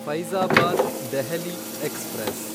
Faizabad Delhi express